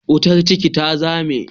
Wukar kicin ta zame.